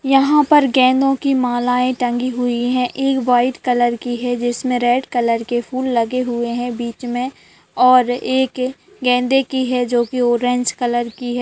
यहाँ पे गेंदों की मालाएं टंगी हुई है एक वाइट कलर की है जिसमें रेड कलर के फूल लगे हुए हैं बीच में और एक गेंदे के है जोकि ऑरेंज कलर की है।